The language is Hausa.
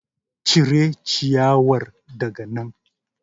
Cire ciyawar daga nan.